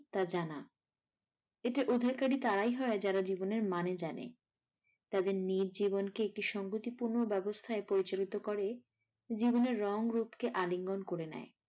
তা জানা। এটার অধিকারী তারাই হয় যারা জীবনের মানে জানে তাদের নিজ জীবন কে একটি সংগঠিপূর্ণ অবস্থায় পরিচালিত করে জীবনের রং রূপ কে আলিঙ্গন করে নেয়।